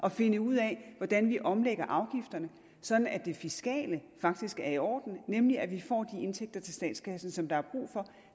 at finde ud af hvordan vi omlægger afgifterne sådan at det fiskale faktisk er i orden nemlig at vi får de indtægter til statskassen som der er brug for